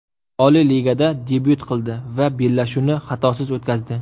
Oliy ligada debyut qildi va bellashuvni xatosiz o‘tkazdi.